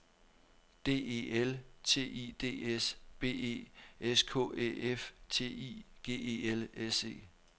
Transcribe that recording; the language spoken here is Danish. D E L T I D S B E S K Æ F T I G E L S E